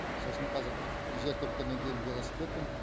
сосын қазір жер кепкеннен кейін велосипедпен